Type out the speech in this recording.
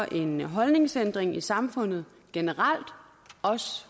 en holdningsændring i samfundet generelt også